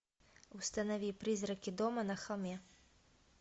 установи призраки дома на холме